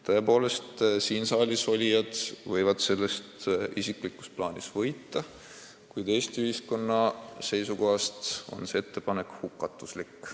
Tõepoolest, siin saalis olijad võivad sellest isiklikult võita, kuid Eesti ühiskonna seisukohast oleks selle ettepaneku elluviimine hukatuslik.